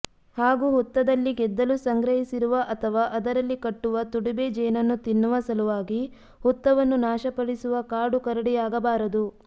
ಹಾಗೂ ಹುತ್ತದಲ್ಲಿ ಗೆದ್ದಲು ಸಂಗ್ರಹಿಸಿರುವ ಅಥವಾ ಅದರಲ್ಲಿ ಕಟ್ಟುವ ತುಡುಬೆ ಜೇನನ್ನು ತಿನ್ನುವ ಸಲುವಾಗಿ ಹುತ್ತವನ್ನು ನಾಶಪಡಿಸುವ ಕಾಡು ಕರಡಿಯಾಗಬಾರದು